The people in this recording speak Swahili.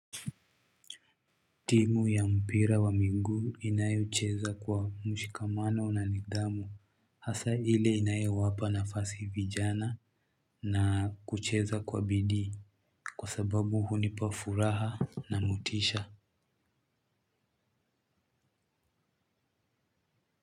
Timu ya mpira wa miguu inayocheza kwa mshikamano na nidhamu hasa ile inayowapa nafasi vijana na kucheza kwa bidii kwa sababu hunipa furaha na motisha.